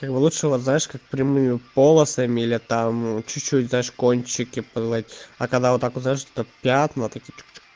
лучшего знаешь как прямую полосами или там чуть-чуть даже кончики а когда вот так вот что пятна